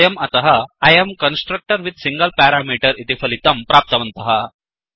वयं अतः I um constructor with a single parameter इति फलितं प्राप्तवन्तः